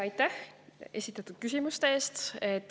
Aitäh esitatud küsimuste eest!